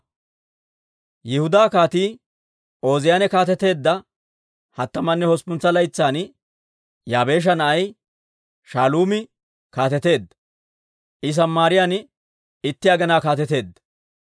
Yihudaa Kaatii Ooziyaane kaateteedda hattamanne udduppuntsa laytsan, Yaabeesha na'ay Shaaluumi kaateteedda; I Samaariyaan itti aginaa kaateteedda.